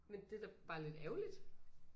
Men det da bare lidt ærgerligt